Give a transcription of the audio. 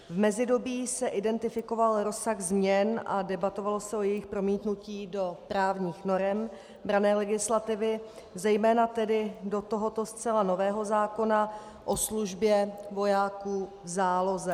V mezidobí se identifikoval rozsah změn a debatovalo se o jejich promítnutí do právních norem branné legislativy, zejména tedy do tohoto zcela nového zákona o službě vojáků v záloze.